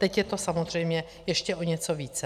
Teď je to samozřejmě ještě o něco více.